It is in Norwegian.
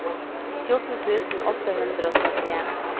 fjorten tusen åtte hundre og trettien